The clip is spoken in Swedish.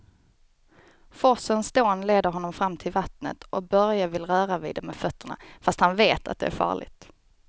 Forsens dån leder honom fram till vattnet och Börje vill röra vid det med fötterna, fast han vet att det är farligt.